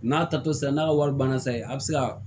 N'a tato sera n'a ka wari banna sisan a bɛ se ka